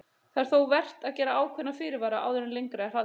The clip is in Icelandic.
Það er þó vert að gera ákveðna fyrirvara áður en lengra er haldið.